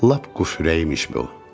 Lap quş ürəyimiş bu.